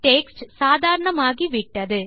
text சாதாரணமாகி விட்டது